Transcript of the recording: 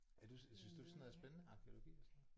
Er du synes du sådan noget er spændende arkæologi og sådan noget